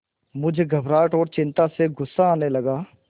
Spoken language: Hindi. मुझे घबराहट और चिंता से गुस्सा आने लगा